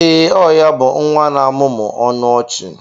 Ee, ọ ya bụ nwa na-amụmụ ọnụ ọchị.